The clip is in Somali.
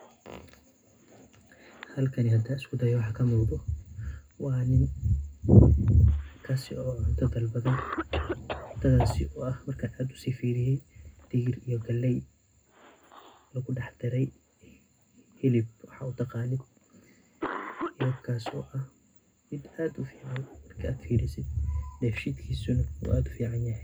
Halkani hadaan isku dayo waxa ka muuqdo waa nin kaasi oo cunta dalbaday ,cuntadaasi oo ah markaan aad usii firiyay digir iyo galley lagu dhax daray hilib waxaad u taqaano. Hilibkaas oo aha mid aad u fiican dhefshiidkisa in uu aad u fiican yahay.